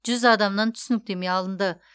жүз адамнан түсініктеме алынды